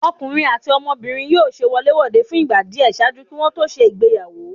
Ọkunrin ati ọmọbirin yóò ṣe wolé-wodé fun igba diẹ ṣaaju ki wọn to ṣe ìgbéyàwó.